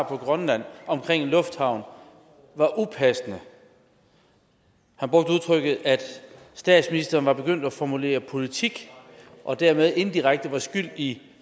på grønland om en lufthavn var upassende han brugte udtrykket at statsministeren var begyndt at formulere politik og dermed indirekte var skyld i